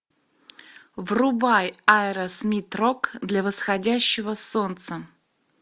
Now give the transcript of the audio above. врубай аэросмит рок для восходящего солнца